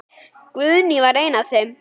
Guðný var ein af þeim.